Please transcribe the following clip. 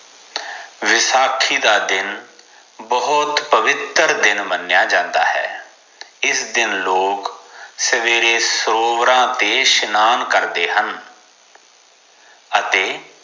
ਵੈਸਾਖੀ ਦਾ ਦਿਨ ਬਹੁਤ ਪਵਿੱਤਰ ਦਿਨ ਮਨਯਾ ਜਾਂਦਾ ਹੈ ਇਸ ਦਿਨ ਲੋਗ ਸਵੇਰੇ ਸਰੋਵਰਾਂ ਤੇ ਸਾਨਾਂ ਕਰਦੇ ਹਨ ਅਤੇ